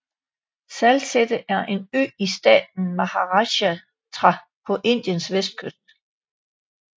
Salsette er en ø i staten Maharashtra på Indien vestkyst